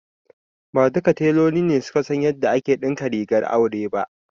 Ba duka teloli ne suka san yadda ake ɗinka rigar aure ba.